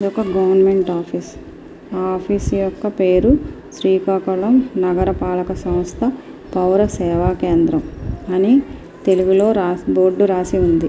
ఇది ఒక government office ఆ ఆఫీస్ యొక్క పేరు శ్రీకాకుళం నగరపాలక సంస్థ. పౌర సేవా కేంద్రం అని తెలుగులో రాసి బోర్డు రాసి ఉంది.